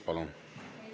Palun!